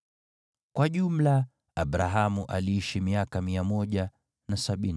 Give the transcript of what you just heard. Kwa jumla, Abrahamu aliishi miaka 175.